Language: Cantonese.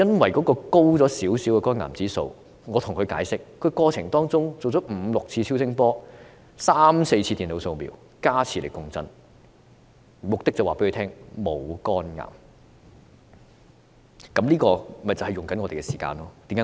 我向他解釋，由於肝癌指數稍高，令他在治療過程中接受了五六次超聲波、三四次電腦掃瞄，再加上磁力共振，目的是告訴他沒有患上肝癌。